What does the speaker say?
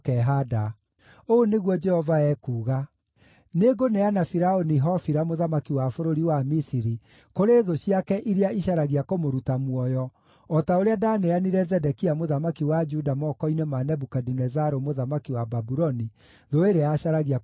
Ũũ nĩguo Jehova ekuuga: ‘Nĩngũneana Firaũni Hofira mũthamaki wa bũrũri wa Misiri kũrĩ thũ ciake iria icaragia kũmũruta muoyo, o ta ũrĩa ndaaneanire Zedekia mũthamaki wa Juda moko-inĩ ma Nebukadinezaru mũthamaki wa Babuloni, thũ ĩrĩa yacaragia kũmũruta muoyo.’ ”